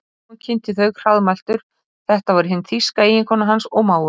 Símon kynnti þau hraðmæltur, þetta var hin þýska eiginkona hans og mágur.